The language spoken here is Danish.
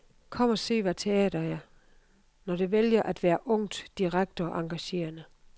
Kom og se, hvad teater er, når det vælger at være ungt, direkte og engagerende.